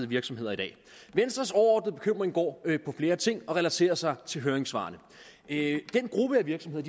virksomheder venstres overordnede bekymring går på flere ting og relaterer sig til høringssvarene den gruppe af virksomheder